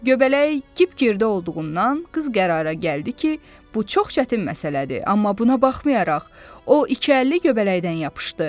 Göbələk kip-girdə olduğundan qız qərara gəldi ki, bu çox çətin məsələdir, amma buna baxmayaraq, o iki əlli göbələkdən yapışdı.